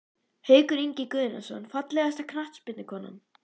Haukur Ingi Guðnason Fallegasta knattspyrnukonan?